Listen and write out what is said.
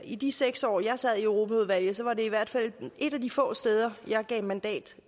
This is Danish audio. i de seks år jeg sad i europaudvalget var det i hvert fald et af de få steder jeg gav mandat